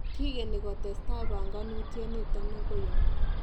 Kikeni kotestai panganutiet niton akoi au?